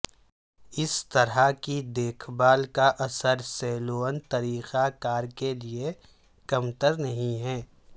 اس طرح کی دیکھ بھال کا اثر سیلون طریقہ کار کے لئے کمتر نہیں ہے